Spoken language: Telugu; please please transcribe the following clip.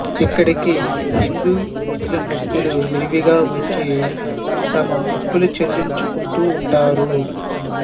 ఇక్కడికి హిందూ ముస్లిం భక్తులు విరివిగా వచ్చి తమ మొక్కులు చెల్లించుకుంటూ ఉంటారు